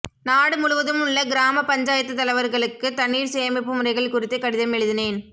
நாடு முழுவதும் உள்ள கிராமப் பஞ்சாயத்துத் தலைவர்களுக்கு தண்ணீர் சேமிப்பு முறைகள் குறித்து கடிதம் எழுதினேன்